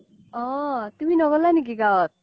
অ তুমি ন্গলা নেকি গাওত